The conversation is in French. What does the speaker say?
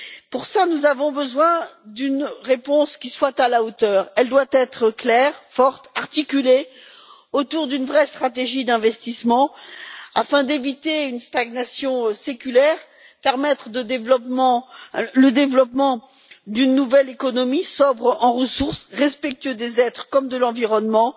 Pour cela, nous avons besoin d'une réponse qui soit à la hauteur. Elle doit être claire, forte et articulée autour d'une vraie stratégie d'investissement, afin d'éviter une stagnation séculaire et permettre le développement d'une nouvelle économie sobre en ressources, respectueuse des êtres comme de l'environnement